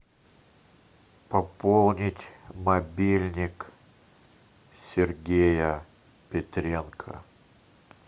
пополнить мобильник сергея петренко